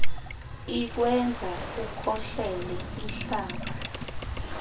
ikwenza ukhohlele ihlaba